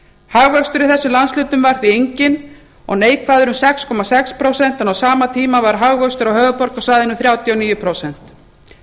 hagvöxtur í þessum landshlutum var því enginn og neikvæður um sex komma sex prósent en á sama tíma var hagvöxtur á höfuðborgarsvæðinu þrjátíu og níu prósent